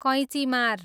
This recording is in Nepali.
कैँचीमार